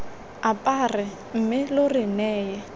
apare mme lo re neye